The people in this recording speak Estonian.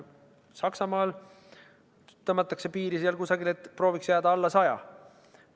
Saksamaal tõmmatakse piir kusagile sinna, et prooviks jääda alla 100%.